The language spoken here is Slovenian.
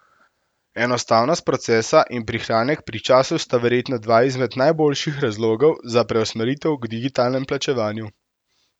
Enostavnost procesa in prihranek pri času sta verjetno dva izmed najboljših razlogov za preusmeritev k digitalnemu plačevanju.